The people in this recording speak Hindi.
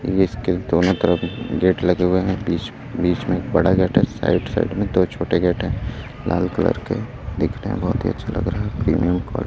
ये इसके दोनों तरफ गेट लगे हुए है बीच में बड़ा एक गेट है साइड साइड में दो छोटे गेट है लाल कलर के देखने में बहोत ही अच्छे लग रहे है प्रीमियम का --